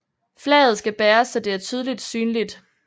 Flaget skal bæres så det er tydeligt synligt